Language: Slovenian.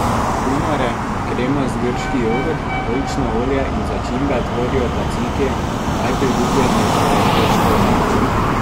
Kumare, kremast grški jogurt, oljčno olje in začimbe tvorijo taciki, najpriljubljenejšo grško omako.